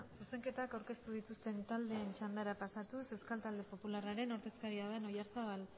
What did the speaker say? zuzenketak aurkeztu dituzten taldeen txandara pasatu euskal talde popularraren ordezkariaren oyarzabal